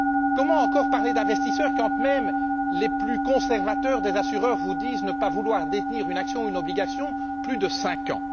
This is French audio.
Comment encore parler d'investisseurs quand même les plus conservateurs des assureurs vous disent ne pas vouloir détenir une action ou une obligation pendant plus de cinq ans?